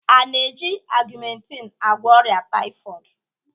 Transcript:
A na-eji augmentin agwọ ọrịa tpyhoid?